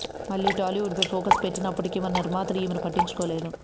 మళ్లీ టాలీవుడ్ ఫై ఫోకస్ పెట్టినప్పటికీ మన నిర్మాతలు ఈమెను పట్టించుకోలేదు